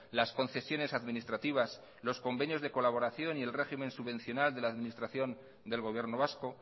las concesiones administrativas los convenios de colaboración y el régimen subvencional de la administración del gobierno vasco